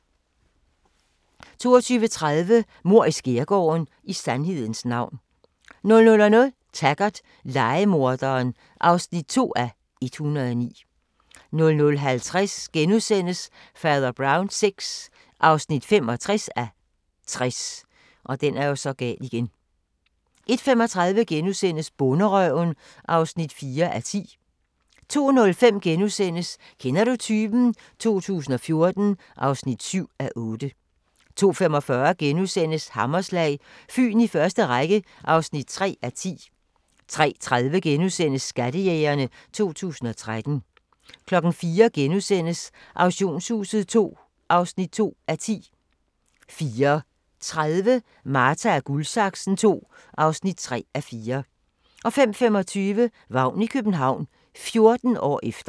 22:30: Mord i skærgården: I sandhedens navn 00:00: Taggart: Lejemorderen (2:109) 00:50: Fader Brown VI (65:60)* 01:35: Bonderøven (4:10)* 02:05: Kender du typen? 2014 (7:8)* 02:45: Hammerslag – Fyn i første række (3:10)* 03:30: Skattejægerne 2013 * 04:00: Auktionshuset II (2:10)* 04:30: Marta & Guldsaksen II (3:4) 05:25: Vagn i København – 14 år efter